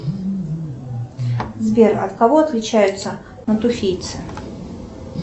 сбер от кого отличаются натуфийцы